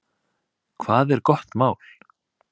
Hvað er gott mál?